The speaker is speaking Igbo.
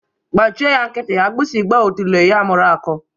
Gbachị ya nkịtị, agbịsị gba otule ya mụrụ akọ.